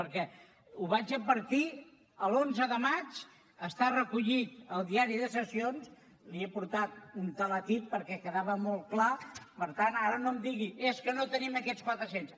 perquè ho vaig advertir l’onze de maig està recollit al diari de sessions li n’he portat un teletip perquè hi quedava molt clar per tant ara no em digui és que no tenim aquests quatre cents